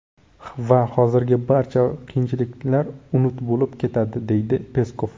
Va hozirgi barcha qiyinchiliklar unut bo‘lib ketadi”, deydi Peskov.